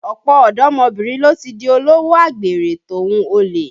Ọ̀pọ̀ ọ̀dọ́mọbìnrin ló ti di olówò àgbèrè tòhun olè